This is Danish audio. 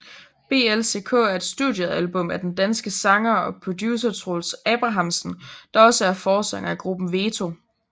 BLCK er et studiealbum af den danske sanger og producer Troels Abrahamsen der også er forsanger i gruppen VETO